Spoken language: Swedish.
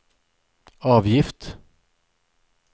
avgift